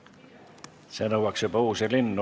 See nõuaks juba uusi linnu.